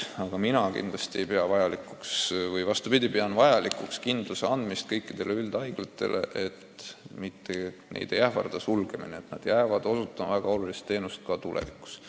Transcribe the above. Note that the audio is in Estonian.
Aga mina pean vajalikuks anda kõikidele üldhaiglatele kindlustunne, et neid ei ähvarda sulgemine, et nad jäävad osutama väga olulist teenust ka tulevikus.